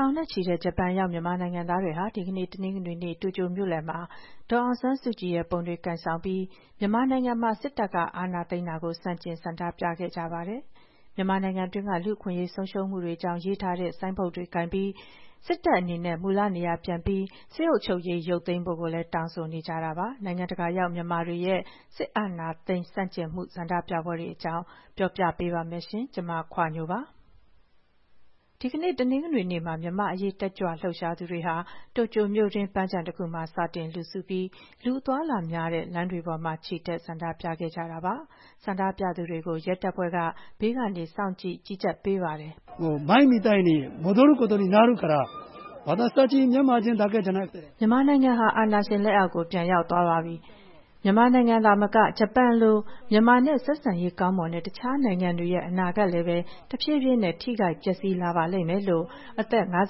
ောင်နဲ့ချီတဲ့ ဂျပန်ရောက် မြန်မာနိုင်ငံသားတွေဟာ ဒီကနေ့ တနင်္ဂနွေနေ့ တိုကျိုမြို့လယ်မှာ ဒေါ်အောင်ဆန်းစုကြည်ပုံတွေ ကိုင်ဆောင်ပြီး မြန်မာနိုင်ငံမှာ စစ်တပ်က အာဏာသိမ်းတာကို ဆန့်ကျင်ဆန္ဒပြခဲ့ကြပါတယ်။ မြန်မာနိုင်ငံတွင်းက လူ့အခွင့်အရေးဆုံးရှုံးမှုတွေအကြောင်းရေးထားတဲ့ ဆိုင်းပုဒ်တွေကိုင်ပြီး စစ်တပ်အနေနဲ့ မူလနေရာပြန်ပြီး စစ်အုပ်ချုပ်ရေးရုပ်သိမ်းဖို့လည်း တောင်းဆိုကြပါတယ်။ နိုင်ငံတကာရောက်မြန်မာတွေရဲ့ စစ်အာဏာသိမ်းဆန့်ကျင်မှုဆန္ဒပြပွဲတွေအကြောင်း မခွာညို ပြောပြပါမယ်။ ဒီနေ့ တနင်္ဂနွေနေ့မှာ မြန်မာ့အရေးတက်ကြွလှုပ်ရှားသူတွေဟာ တိုကျိုမြို့တွင်း ပန်းခြံတခုမှာစတင် လူစုပြီး လူအသွားအလာများတဲ့ လမ်းတွေပေါ်မှာ ချီတက်ဆန္ဒပြခဲ့ကြတာပါ။ ဆန္ဒပြသူတွေကို ရဲတပ်ဖွဲ့က ဘေးကနေ စောင့်ကြည့် ကြီးကြပ်ပေးပါတယ်။ အသက် ၅၃ နှစ်ရှိပြီဖြစ်တဲ့ စီးပွါးရေးလုပ်ငန်းရှင် ဦးသောင်းမြင့်ဦးက အခုလို ပြောပါတယ်။ “မြန်မာနိုင်ငံဟာ အာဏာရှင်လက်အောက်ကို ပြန်ရောက်သွားပါပြီ။ မြန်မာနိုင်ငံသာမက ဂျပန်နိုင်ငံလို မြန်မာနဲ့ ဆက်ဆံရေးကောင်းမွန်ခဲ့တဲ့ နိုင်ငံတွေရဲ့ အနာဂတ်လည်းပဲ တဖြည်းဖြည်းနဲ့ ထိခိုက်ပျက်စီးလာပါလိမ့်မယ်။” မြန်မာ့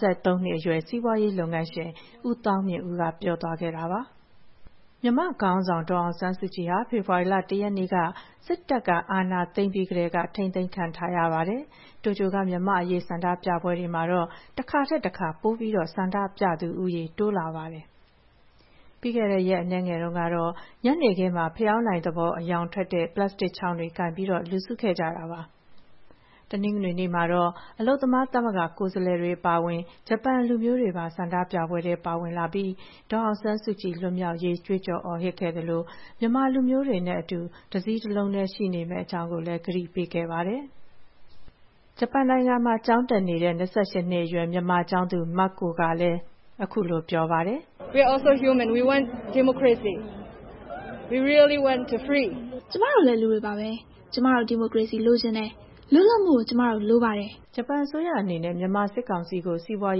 ခေါင်းဆောင် ဒေါ်အောင်ဆန်းစုကြည်ဟာ ဖေဖေါ်ဝါရီလ ၁ ရက်နေ့က စစ်တပ်အာဏာသိမ်းပြီးကတည်းက ထိန်းသိမ်းခံထားရပါတယ်။ တိုကျိုက မြန်မာ့အရေးဆန္ဒပြပွဲတွေမှာတော့ တခါထက်တခါ ပိုပြီးဆန္ဒပြသူဦးရေ တိုးလာနေပါတယ်။ ပြီးခဲ့တဲ့ရက်အနည်းငယ်တုန်းက ညနေခင်းမှာ ဖရောင်းတိုင်သဘော အရောင်ထွက်တဲ့ ပလပ်စတစ်ချောင်းတွေ ကိုင်ပြီး လူစုခဲ့ကြတာပါ။ တနင်္ဂနွေနေ့မှာတော့ အလုပ်သမားသမဂ္ဂ ကိုယ်စားလှယ်တွေအပါအဝင် ဂျပန်လူမျိုးတွေပါ ဆန္ဒပြပွဲထဲ ပါဝင်လာပြီး ဒေါ်အောင်ဆန်းစုကြည်လွတ်မြောက်ရေး ကြွေးကျော်အော်ဟစ်ခဲ့သလို မြန်မာလူမျိုးတွေနဲ့အတူ တစည်းတလုံးတည်းရှိနေမယ့်အကြောင်းကိုလည်း ကတိပေးခဲ့ပါတယ်။ ဆန္ဒပြပွဲမှာပါဝင်သူ ဂျပန်နိုင်ငံမှာ ကျောင်းတက်နေတဲ့၂၈ နှစ်အရွယ် မြန်မာကျောင်းသူ Mako ကလည်း - “ကျမတို့လည်း လူတွေပါပဲ။ ကျမတို့ ဒီမိုကရေစီ လိုချင်တယ်။ လွတ်လပ်မှုကို ကျမတို့ တကယ်လိုပါတယ်။” လို့ ပြောပါတယ်။ ဂျပန်အစိုးရအနေနဲ့ မြန်မာစစ်ကောင်စီကို စီးပွား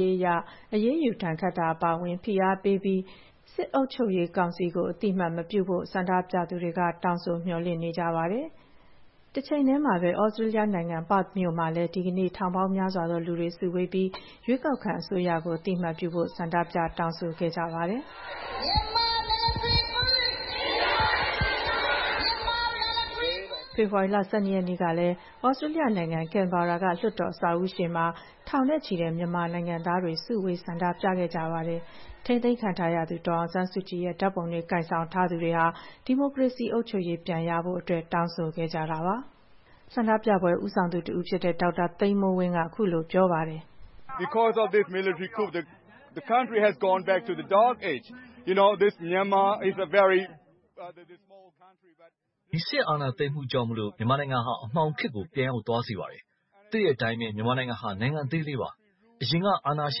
ရေးအရ အရေးယူဒဏ်ခတ်တာအပါအဝင် ဖိအားပေးမှုတွေ လုပ်ပြီး၊ စစ်အုပ်ချုပ်ရေးကောင်စီကို အသိအမှတ်မပြုဖို့ ဆန္ဒပြသူတွေက တောင်းဆို မျှော်လင့်နေကြပါတယ်။ ဂျပန်နိုင်ငံမှာ မြန်မာနိုင်ငံသား ၃၃,၀၀၀ ကျော်နေထိုင်နေကြပါတယ်။ တချိန်တည်းမှာပဲ သြစတြေးလျားနိုင်ငံ၊ ပါ့ချ်မြို့မှာလည်း ဒီကနေ့ ထောင်ပေါင်းများစွာသောလူတွေ စုဝေးပြီး ရွေးကောက်ခံအစိုးရကို အသိအမှတ်ပြုဖို့ ဆန္ဒပြတောင်းဆိုခဲ့ကြပါတယ်။ ဖေဖေါ်ဝါရီလ ၁၂ ရက်နေ့ကလည်း သြစတြေးလျနိုင်ငံ၊ ကဲန်ဘာရာက လွှတ်တော်အဆောက်အဦးရှေ့မှာ ထောင်နဲ့ချီတဲ့ မြန်မာနိုင်ငံသားတွေ စုဝေးဆန္ဒပြခဲ့ကြပါတယ်။ ထိန်းသိမ်းခံထားရသူ ဒေါ်အောင်ဆန်းစုကြည်ရဲ့ဓာတ်ပုံတွေ ကိုင်ဆောင်ထားသူတွေဟာ ဒီမိုကရေစီအုပ်ချုပ်ရေးပြန်ရဖို့ တောင်းဆိုဆန္ဒပြခဲ့ကြပါတယ်။ ဆန္ဒပြပွဲ ဦးဆောင်သူတဦးဖြစ်တဲ့ ဒေါက်တာ သိန်းမိုးဝင်းက အခုလို ပြောပါတယ်။ “ဒီစစ်အာဏာသိမ်းမှုကြောင့် မြန်မာနိုင်ငံဟာ အမှောင်ခေတ်ကို ပြန်ရောက်သွားစေပါတယ်။ သိတဲ့အတိုင်း မြန်မာနိုင်ငံဟာ နိုင်ငံအသေးလေးပါ။ အရင်က အာဏာရှ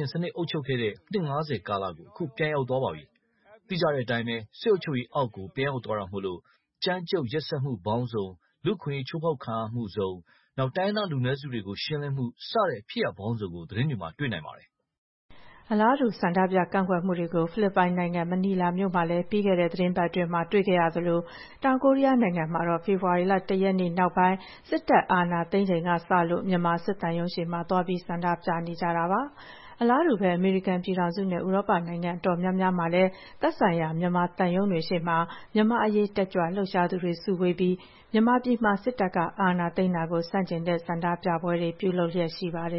င်စနစ်အုပ်ချုပ်ခဲ့တဲ့ နှစ် ၅၀ ကာလကို အခု ပြန်ရောက်သွားပါပြီ။ သိကြတဲ့အတိုင်း စစ်အုပ်ချုပ်ရေးအောက်ကို ပြန်ရောက်သွားတာမို့လို့ ကြမ်းကြုတ်ရက်စက်မှုပေါင်းစုံ၊ လူ့အခွင့်ရေးချိုးဖောက်ခံရမှု၊ တိုင်းရင်းသားလူနွယ်စုတွေကို ရှင်းလင်းမှုစတဲ့ ဖြစ်ရပ်ပေါင်းစုံကို သတင်းတွေမှာ တွေ့နိုင်ပါတယ်။” အလားတူ ဆန္ဒပြကန့်ကွက်မှုတွေကို ဖိလစ်ပိုင်နိုင်ငံ မနီလာမြို့မှာလည်း ပြီးခဲ့တဲ့သီတင်းပတ်အတွင်းမှာ တွေ့ခဲ့ရသလို တောင်ကိုရီးယားနိုင်ငံမှာတော့ ဖေဖေါ်ဝါရီလ ၁ ရက်နေ့နောက်ပိုင်း စစ်တပ်အာဏာသိမ်းချိန်ကစလို့ မြန်မာစစ်သံရုံးရှေ့မှာ သွားပြီး ဆန္ဒပြနေကြတာပါ။အလားတူပဲ အမေရိကန်ပြည်ထောင်စုနဲ့ ဥရောပနိုင်ငံအတော်များများမှာလည်း သက်ဆိုင်ရာ မြန်မာသံရုံးရှေ့တွေမှာ မြန်မာ့အရေးတတ်ကြွလှုပ်ရှားသူတွေ စုဝေးပြီး မြန်မာပြည်မှာ စစ်တပ်က အာဏာသိမ်းတာကို ဆန့်ကျင်တဲ့ ဆန္ဒပြပွဲတွေ ပြုလုပ်လျက်ရှိပါတယ်